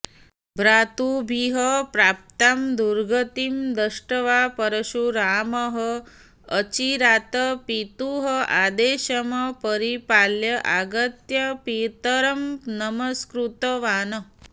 भ्रातृभिः प्राप्तां दुर्गतिं दृष्ट्वा परशुरामः अचिरात् पितुः आदेशम् परिपाल्य आगत्य पितरं नमस्कृतवान्